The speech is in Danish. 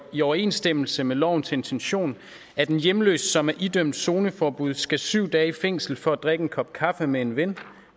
i overensstemmelse med lovens intention at en hjemløs som er idømt zoneforbud skal syv dage i fængsel for at drikke en kop kaffe med en ven